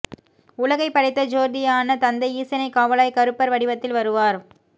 உலகை படைத்த ஜோதியான தந்தை ஈசனே காவலாய் கருப்பர் வடிவத்தில் வருவார்